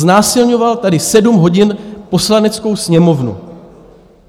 Znásilňoval tady sedm hodin Poslaneckou sněmovnu.